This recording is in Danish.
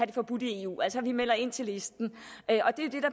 det forbudt i eu altså sådan at vi melder ind til listen